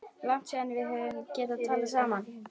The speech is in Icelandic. Langt síðan við höfum getað talað saman.